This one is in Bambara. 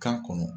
Kan kɔnɔ